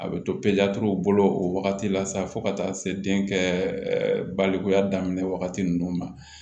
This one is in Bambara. A bɛ to bolo o wagati la sa fo ka taa se den kɛ baloya daminɛ wagati ninnu ma